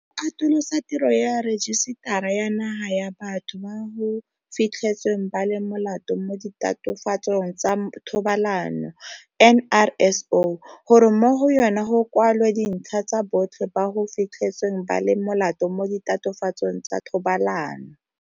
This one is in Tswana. O atolosa tiro ya Rejisetara ya Naga ya Batho ba go Fitlhetsweng ba le Molato mo Ditatofatsong tsa Thobalano NRSO gore mo go yona go kwalwe dintlha tsa botlhe ba go fitlhetsweng ba le molato mo ditatofatsong tsa thobalano.